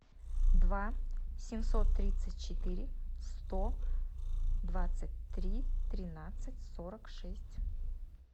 два семьсот тридцать четыре сто двадцать три тринадцать сорок шесть